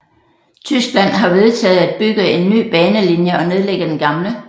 Tyskland har vedtaget at bygge en ny banelinie og nedlægge den gamle